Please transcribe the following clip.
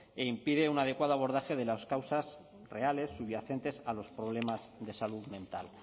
impide un adecuado abordaje de las causas reales subyacentes a los problemas de salud mental